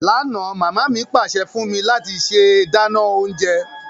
Lánà, mama mi pàsẹ fún mí láti se dánán ounje